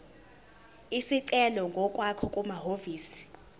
isicelo ngokwakho kumahhovisi